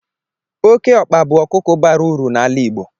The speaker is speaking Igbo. Oke ọkpa bụ a ọkụkọ bara uru n'ala Igbo.